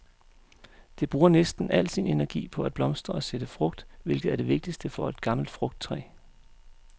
Det bruger næsten al sin energi på at blomstre og sætte frugt, hvilket er det vigtigste for et gammelt frugttræ.